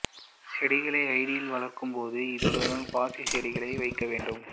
இச்செடிகளை ஜாடியில் வளர்க்கும் போது இத்துடன் பாசிச் செடிகளும் வைக்க வேண்டும்